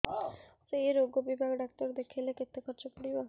ସେଇ ରୋଗ ବିଭାଗ ଡ଼ାକ୍ତର ଦେଖେଇଲେ କେତେ ଖର୍ଚ୍ଚ ପଡିବ